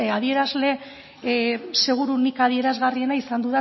adierazle seguruenik adierazgarriena izan